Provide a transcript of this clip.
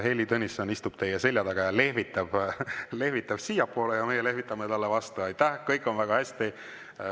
Heili Tõnisson istub teie selja taga ja lehvitab siiapoole, meie lehvitame talle vastu, kõik on väga hästi.